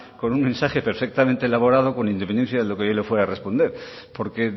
con un mensaje perfectamente elaborado con independencia de lo que yo le fuera a responder porque